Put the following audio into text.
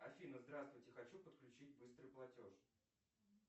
афина здравствуйте хочу подключить быстрый платеж